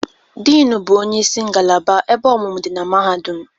Dean bụ onye isi ngalaba ebe ọmụmụ dị na Mahadum.